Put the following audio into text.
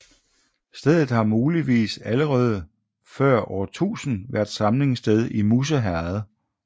Stedet har muligvis allerede før år 1000 været samlingssted i Musse Herred